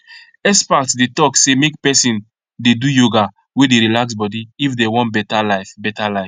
experts dey talk say make person dey do yoga wey dey relax body if dem wan better life better life